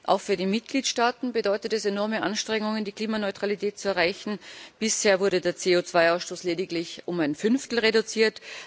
Auch für die Mitgliedstaaten bedeutet es enorme Anstrengungen, die Klimaneutralität zu erreichen, bisher wurde der CO2 Ausstoß lediglich um ein Fünftel reduziert.